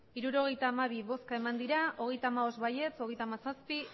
hirurogeita hamabi bai hogeita hamabost ez hogeita hamazazpi